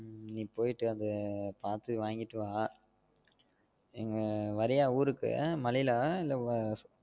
நீ போயிட்டு அது பாத்து வாங்கிட்டு வா அஹ் வரியாஹ் ஊருக்கு மழயில இல்ல